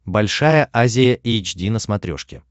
большая азия эйч ди на смотрешке